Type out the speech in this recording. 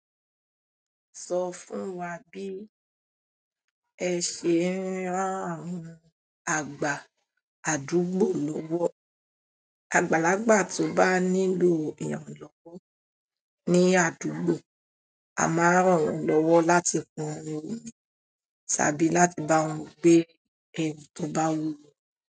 Sọ fún wa bí ẹ ṣe ń rán àwọn àgbà àdúgbò lọ́wọ́. Àgbàlagbà tó bá nílò ìrànlọ́wọ́ ní àdúgbò, a máa ràn wọn lọ́wọ́ láti pọn omi wọn tàbí láti bá wọn gbé ẹrù tó bá wúwo.